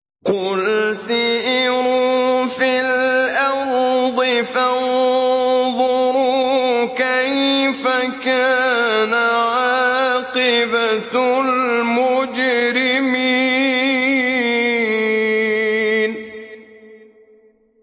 قُلْ سِيرُوا فِي الْأَرْضِ فَانظُرُوا كَيْفَ كَانَ عَاقِبَةُ الْمُجْرِمِينَ